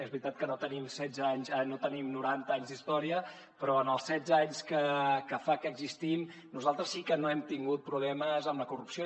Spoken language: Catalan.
és veritat que no tenim noranta anys d’història però en els setze anys que fa que existim nosaltres sí que no hem tingut problemes amb la corrupció